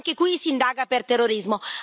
Anche qui si indaga per terrorismo.